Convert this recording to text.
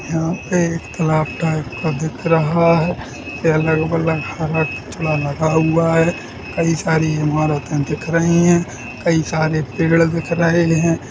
यहाँ पे तालाब टाइप का दिख रहा है अगल-बगल काला कचरा लगा हुआ है कई सारी इमारतें दिख रही हैं कई सारे पेड़ दिख रहे हैं।